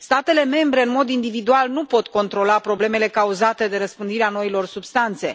Statele membre, în mod individual, nu pot controla problemele cauzate de răspândirea noilor substanțe.